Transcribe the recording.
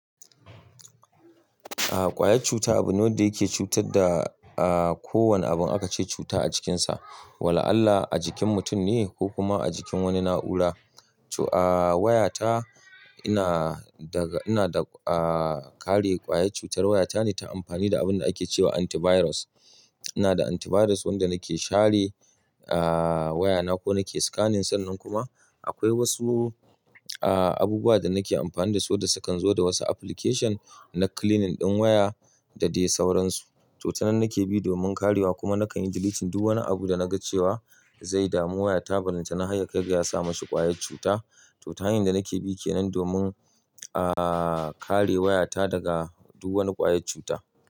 A'a kwayar cuta abu ne dake cutar da, a'a ko wane abun aka ce cuta a jikin sa. Walla Allah a jikin mutum ne ko kuma a jikin wani na'ura. To a'a wayata ina daga, ina da a'a kare kwayar cutar wayata ne ta amfani da abunda ake cewa antivirus. Ina da antivirus wanda nake share a'a wayana ko nake scanning sannan kuma akwai wasu a'a abubuwa da nake amfani da su da sukan zo da wasu application na cleaning ɗin waya da dai sauransu. To ta nan nake bi domin karewa kuma nakan delete duk wani abu da naga cewa zai damu wayata balan ta na haryakai da yasa mashi kwayar cuta. To ta hanyar da nake bi kenan domin a'a kare wayata daga duk wani kwayar cuta.